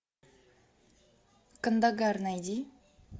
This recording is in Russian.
кандагар найди